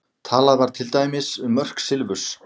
Talað var til dæmis um mörk silfurs.